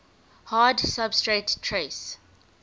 hard substrate trace